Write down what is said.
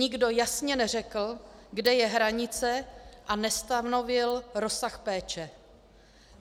Nikdo jasně neřekl, kde je hranice, a nestanovil rozsah péče.